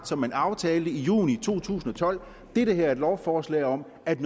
som man aftalte i juni to tusind og tolv det her er et lovforslag om at